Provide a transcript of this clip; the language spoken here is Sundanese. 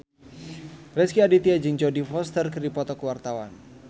Rezky Aditya jeung Jodie Foster keur dipoto ku wartawan